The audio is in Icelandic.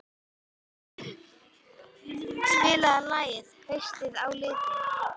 Henning, spilaðu lagið „Haustið á liti“.